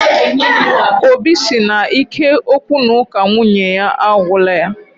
Óbị si na ike okwu na uka nwunye ya agwula yá